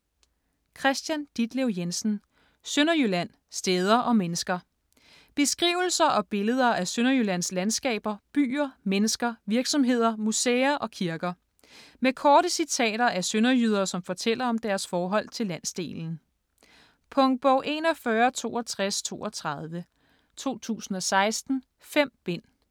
Jensen, Kristian Ditlev: Sønderjylland: steder og mennesker Beskrivelser og billeder af Sønderjyllands landskaber, byer, mennesker, virksomheder, museer og kirker. Med korte citater af sønderjyder, som fortæller om deres forhold til landsdelen. Punktbog 416232 2016. 5 bind.